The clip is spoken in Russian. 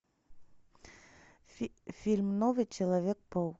фильм новый человек паук